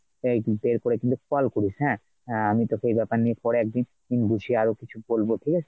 miss call করিস হ্যাঁ আমি তোকে এই ব্যাপার নিয়ে পরে একদিন বুঝিয়ে আরো কিছু বলবা ঠিক আছে,